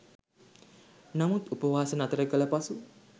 නමුත් උපවාසය නතර කළ පසු